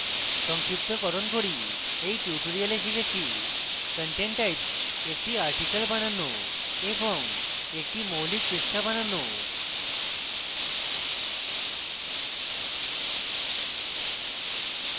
সংক্ষিপ্তকরণ করি in tutorial আমরা শিখেছে: content types একটি article বানানো এবং একটি মৌলিক পৃষ্ঠা বানানো